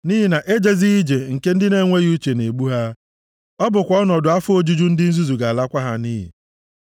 Nʼihi na ejezighị ije nke ndị na-enweghị uche na-egbu ha, ọ bụkwa ọnọdụ afọ ojuju ndị nzuzu ga-alakwa ha nʼiyi.